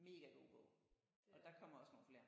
Mega god bog og der kommer også nogle flere